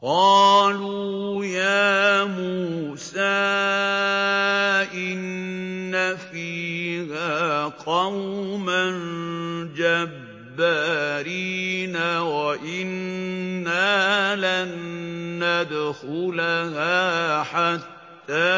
قَالُوا يَا مُوسَىٰ إِنَّ فِيهَا قَوْمًا جَبَّارِينَ وَإِنَّا لَن نَّدْخُلَهَا حَتَّىٰ